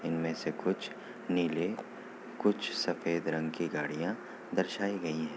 इनमें से कुछ नीले कुछ सफेद रंग की गाड़ियां दर्शाई गई है।